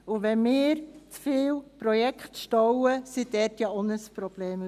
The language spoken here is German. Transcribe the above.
Wenn wir zu viele Projekte stauen, bekommt auch das AGG ein Problem.